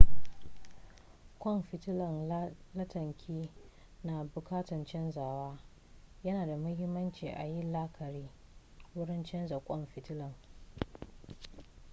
kwan fitilan lantarkin na bukatan canzawa yana da muhimmanci ayi la'akari wurin canza kwan fitilan